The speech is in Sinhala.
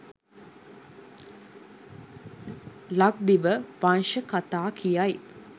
ලක්දිව වංශ කතා කියයි.